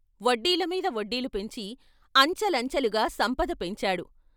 వడ్డీల మీద వడ్డీలు పెంచి అంచె లంచెలుగా సంపద పెంచారు.